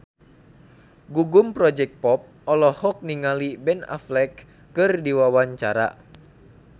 Gugum Project Pop olohok ningali Ben Affleck keur diwawancara